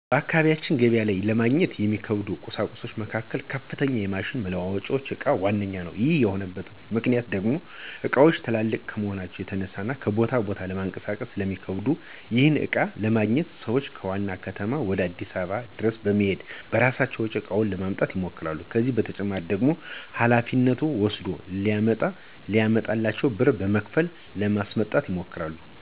በአካባቢያችን ገበያ ላይ ለማግኘት ከሚከብዱ ቍሳቁሶች መካከል የከፍተኛ ማሽኖች መለዋወጫ እቃ ዋነኛው ነው። ይህ የሆነበት ምክንያት ደሞ እቃዎቹ ትላልቅ ከመሆናቸው የተነሳ ከቦታ ቦታ ለማንቀሳቀስ ስለሚከብዱ ነው። ይህንንም እቃ ለማግኘት ሰዎች ዋና ከተማ ወይም አዲስ አበባ ድረስ በመሔድ በራሳቸው ወጪ እቃውን ለማምጣት ይሞክራሉ። ከዚህ በተጨማሪ ደግሞ ሀላፊነት ወስደ ለሚያመጣላቸው ብር በመክፈል ለማስመጣት ይሞክራሉ።